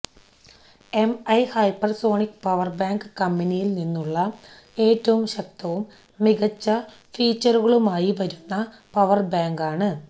Mi hypersonic power bank കമ്പനിയിൽ നിന്നുള്ള ഏറ്റവും ശക്തവും മികച്ച ഫീച്ചറുകളുമായി വരുന്ന പവർ ബാങ്കാണ്